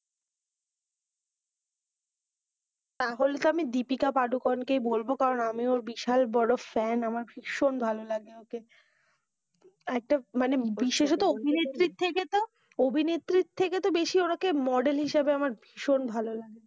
তাহলে তো আমি দীপিকা পাড়ুকোন কেই বলবো কারণ আমি ওর বিশাল বোরো ফ্যান ভীষণ ভালো লাগে ওকে আর একটা বিশেষত অভিনেত্রী থেকে তো অভিনেত্রী থেকে তো বেশি ওর ওকে মডেল হিসাবে আমরা ভীষণ ভালো লাগে।